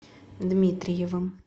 дмитриевым